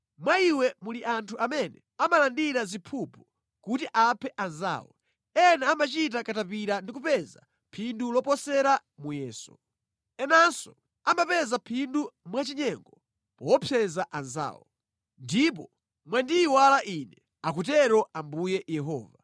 Mwa iwe muli anthu amene amalandira ziphuphu kuti aphe anzawo; ena amachita katapira ndi kupeza phindu loposera muyeso; enanso amapeza phindu mwachinyengo poopseza anzawo. Ndipo mwandiyiwala Ine, akutero Ambuye Yehova.